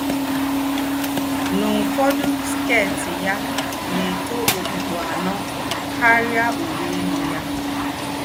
N’úfọ́dọ́, skét yá nà-ètó òkpùkpù ànọ́ kárìá úwé élú yá